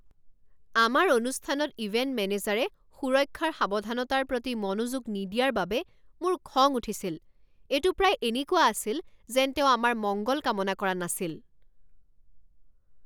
আমাৰ অনুষ্ঠানত ইভেণ্ট মেনেজাৰে সুৰক্ষাৰ সাৱধানতাৰ প্ৰতি মনোযোগ নিদিয়াৰ বাবে মোৰ খং উঠিছিল। এইটো প্ৰায় এনেকুৱা আছিল যেন তেওঁ আমাৰ মংগল কামনা কৰা নাছিল!